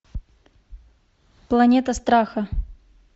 планета страха